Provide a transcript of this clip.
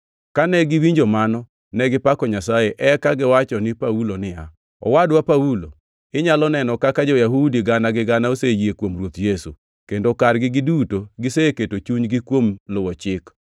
Kane giwinjo mano, negipako Nyasaye, eka giwacho ni Paulo niya, “Owadwa Paulo, inyalo neno kaka jo-Yahudi gana gi gana oseyie kuom Ruoth Yesu, kendo kargi giduto giketo chunygi kuom luwo Chik.